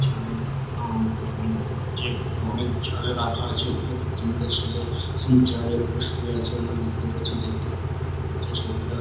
চালের গুদাম দেখা যাচ্ছে এখানে অনেক চাল দেখা যাচ্ছে এখানে দুতিনটে ছেলে চালের উপর শুয়ে আছে আমরা দেখতে পাচ্ছি দেখতে খুবই ভালো লাগছে ছবিটা ।